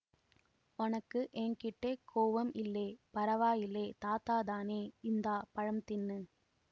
ஒனக்கு என் கிட்டே கோவம் இல்லேபரவாயில்லேதாத்தாதானேஇந்தா பழம் தின்னு